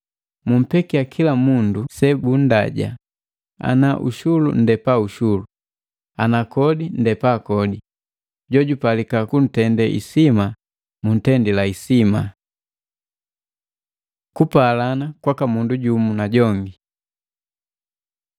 Mumpekia kila mundu sebunndaja ana ushulu ndepa ushulu, ana kodi nndepa kodi, jojupalika kuntende isima muntendila isima. Kupalana kwaka mundu jumu na jongi